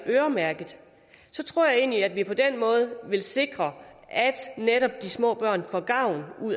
øremærket så tror jeg egentlig at vi på den måde kan sikre at netop de små børn får gavn